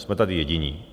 Jsme tady jediní.